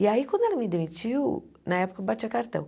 E aí, quando ela me demitiu, na época eu batia cartão.